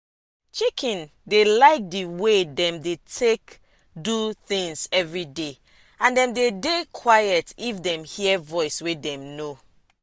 chicken dey like di wey dem dey take do tins everyday and dem dey dey quiet if dem hear voice wey dem know.